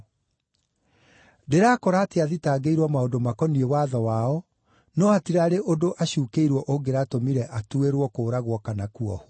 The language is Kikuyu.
Ndĩrakora atĩ athitangĩirwo maũndũ makoniĩ watho wao, no hatirarĩ ũndũ acuukĩirwo ũngĩratũmire atuĩrwo kũũragwo kana kuohwo.